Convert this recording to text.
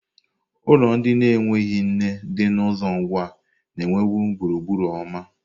Ulo ndi na-enweghị nne di na uzo Ngwa na-enwebu gburugburu ọma.